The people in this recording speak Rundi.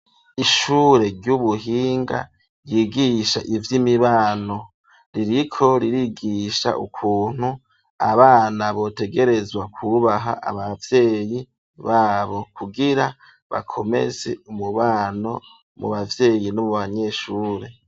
Ishure ry'ubuhinga ryigisha ivy'imibano. Ririko ririgisha ukuntu abana botegerezwa kubaha ababyeyi babo, kugira bakomeze umubano mu bavyeyi n'umu banyeshure.